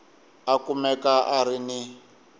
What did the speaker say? a kumeka a ri ni